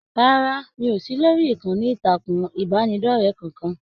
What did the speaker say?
Rárá, mi kò sí lórí ìkànnì ìtàkùn ìbánidọ̀rẹ̀ kankan.